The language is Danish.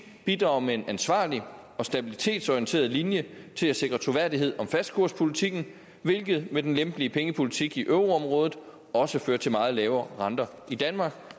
bidrager med en ansvarlig og stabilitetsorienteret linje til at sikre troværdighed om fastkurspolitikken hvilket med den lempelige pengepolitik i euroområdet også fører til meget lav rente i danmark